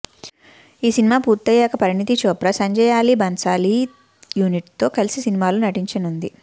ఈ సినిమా పూర్తయ్యాక పరిణీతి చోప్రా సంజయ్లాలీ భన్సాలీ యూనిట్తో కలిసి సినిమాలో నటించనుంది